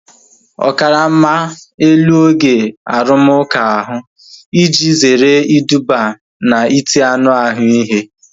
Ọ karama elu oge arumuka ahu iji zere iduba na iti anụ ahụ ihe